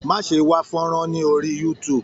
Má ṣe wá fọ́nrán ní orí youtube.